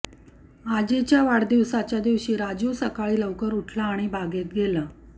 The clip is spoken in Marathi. आजीच्या वाढदिवसाच्या दिवशी राजू सकाळी लवकर उठला आणि बागेत गेला